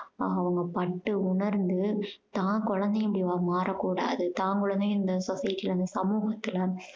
அதை அவங்க பட்டு உணர்ந்து தான் குழந்தைங்க மாறக்கூடாது தான் குழந்தைங்க இந்த society ல வந்து இந்த சமூகத்துல